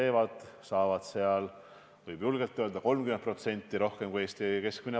Võib julgelt öelda, et nad saavad umbes 30% rohkem palka kui Eesti keskmine.